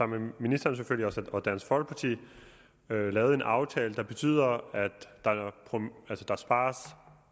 med ministeren og dansk folkeparti har jo lavet en aftale der betyder at der spares